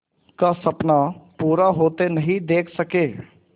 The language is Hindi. का सपना पूरा होते नहीं देख सके